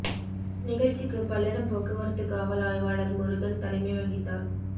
நிகழ்ச்சிக்கு பல்லடம் போக்குவரத்து காவல் ஆய்வாளா் முருகன் தலைமை வகித்தாா்